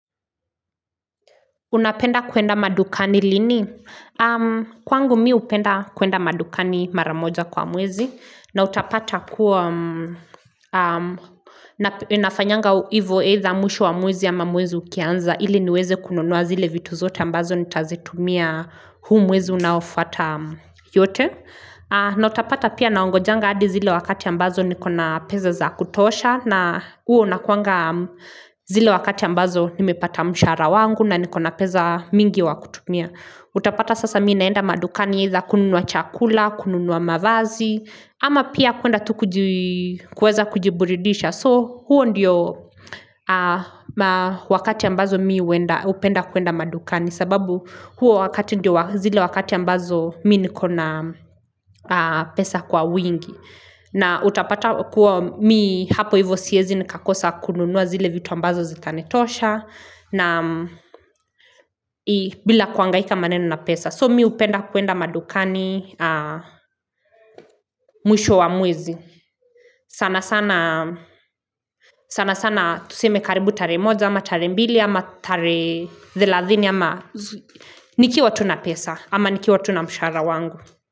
Unapenda kuenda madukani lini? Kwangu mimi hupenda kuenda madukani maramoja kwa mwezi. Na utapata kuwa nafanyanga hivo either mwisho wa mwezi ama mwezi ukianza. Ili niweze kununua zile vitu zote ambazo nitazitumia huu mwezi unaofuata yote. Na utapata pia naongojanga adi zile wakati ambazo nikona pesa za kutosha. Na huo unakuanga zile wakati ambazo nimepata mshara wangu na nikona peza mingi wa kutumia Utapata sasa mimi naenda madukani itha kununua chakula, kununua mavazi ama pia kuenda tu kuweza kujiburidisha So huo ndiyo wakati ambazo mimi hupenda kuenda madukani sababu huo wakati ndiyo zile wakati ambazo mimi nikona pesa kwa wingi na utapata kuwa mimi hapo hivyo siwezi nikakosa kununua zile vitu ambazo zitanitosha na bila kuangaika maneno na pesa So mimi hupenda kuenda madukani mwisho wa mwezi sana sana sana tuseme karibu tarehe moja ama tarehe mbili ama tarehe thelathini ama nikiwa tu na pesa ama nikiwa tu na mshahara wangu.